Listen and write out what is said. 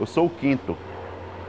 Eu sou o quinto.